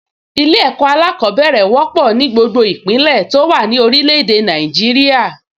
Ilé-ẹ̀kọ́ alákọ̀ọ́bẹ̀rẹ̀ wọ́pọ̀ ní gbogbo ìpínlẹ̀ tó wà ní orilẹ̀ èdè Nàìjíríà